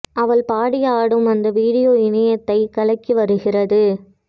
அவள் பாடி ஆடும் அந்த வீடியோ இணையத்தைக் கலக்கி வருகிறது